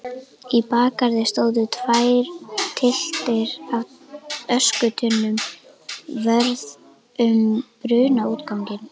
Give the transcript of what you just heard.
Í bakgarði stóðu tvær tylftir af öskutunnum vörð um brunaútganginn.